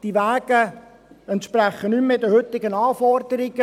Die Wege entsprechen nicht mehr den heutigen Anforderungen.